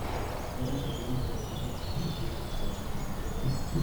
Sera za kilimo zinapaswa kuboreshwa ili kusaidia wakulima.